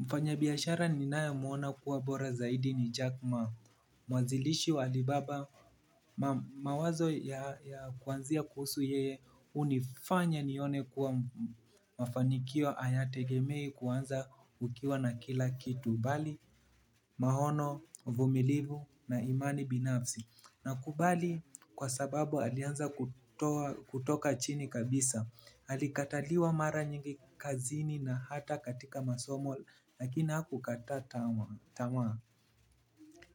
Mfanyabiashara ninayemuona kuwa bora zaidi ni Jack Ma, mwazilishi wa Alibaba mawazo ya kuanzia kuhusu yeye hunifanya nione kuwa mafanikio hayategemei kuanza ukiwa na kila kitu bali maono, uvumilivu na imani binafsi. Namkubali kwa sababu alianza kutoa kutoka chini kabisa. Alikataliwa mara nyingi kazini na hata katika masomo lakini hakukata tamaa.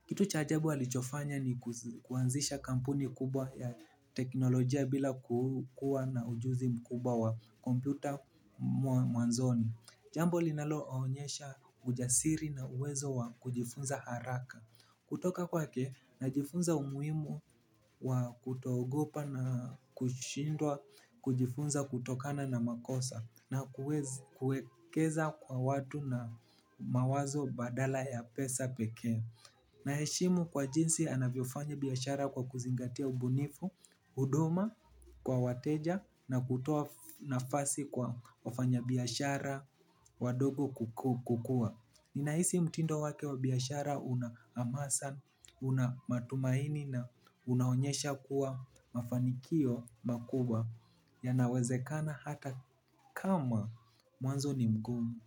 Kitu cha ajabu alichofanya ni kuanzisha kampuni kubwa ya teknolojia bila kukua na ujuzi mkubwa wa kompyuta mwanzoni. Jambo linaloonyesha ujasiri na uwezo wa kujifunza haraka. Kutoka kwake najifunza umuhimu wa kuto ogopa na kushindwa kujifunza kutokana na makosa na kuekeza kwa watu na mawazo badala ya pesa pekee. Naheshimu kwa jinsi anavyofanya biashara kwa kuzingatia ubunifu, huduma kwa wateja na kutoa nafasi kwa wafanya biashara wadogo kukua. Ninahisi mtindo wake wa biashara una hamasa, una matumaini na unaonyesha kuwa mafanikio makubwa yanawezekana hata kama mwanzo ni mgumu.